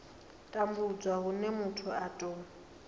tambudzwa hune muthu a tou